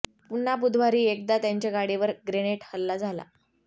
पुन्हा बुधवारी एकदा त्यांच्या गाडीवर ग्रेनेड हल्ला झाला